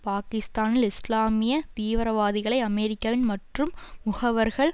பாகிஸ்தானில் இஸ்லாமிய தீவிரவாதிகளை அமெரிக்காவின் மற்றும் முகவர்கள்